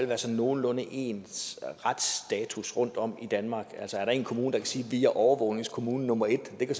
være sådan nogenlunde ens retsstatus rundtom i danmark altså er der en kommune der kan sige at de er overvågningskommune nummer et kan det